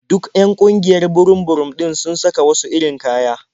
Duk 'yan ƙungiyar burum-burum ɗin sun saka wasu irin kaya.